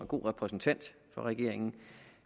god repræsentant for regeringen